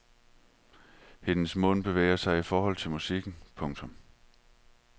Hendes mund bevæger sig i forhold til musikken. punktum